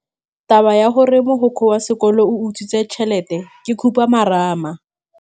Taba ya gore mogokgo wa sekolo o utswitse tšhelete ke khupamarama.